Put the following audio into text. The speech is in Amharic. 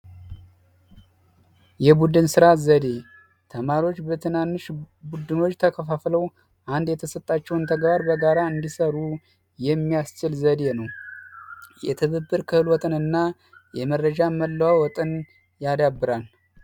የቡድን ስራ ዘዴ ዎች ተማሪዎች በትናንሽ ቡድኖች ተከፋፈለው አንድ የተሰጣቸውን ተግባር በጋራ እንዲሰሩ የሚያስችል ዘዴ ነው ና የመረጃ መለዋወጥን ያዳብራል